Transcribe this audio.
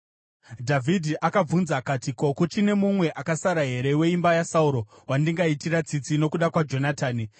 Dhavhidhi akabvunza akati, “Ko, kuchine mumwe akasara here weimba yaSauro wandingaitira tsitsi nokuda kwaJonatani?”